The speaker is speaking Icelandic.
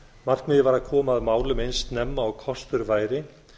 markmiðið var að koma að málum eins snemma og kostur væri